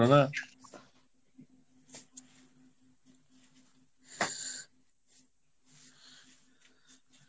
না